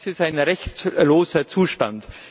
Das ist ein rechtloser Zustand.